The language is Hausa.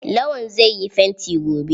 Lawan zai yi fanti gobe.